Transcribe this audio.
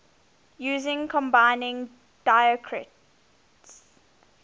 using combining diacritics